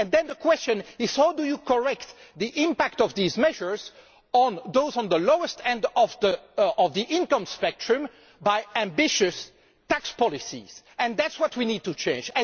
Then the question is how do you correct the impact of these measures on those at the lowest end of the income spectrum via ambitious tax policies? That is what we need to change.